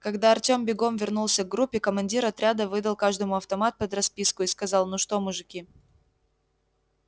когда артем бегом вернулся к группе командир отряда выдал каждому автомат под расписку и сказал ну что мужики